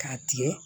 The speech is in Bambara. K'a tigɛ